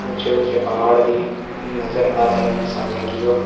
ऊंचे ऊंचे पहाड़ भी नजर आ रहे हैं सामने की ओर।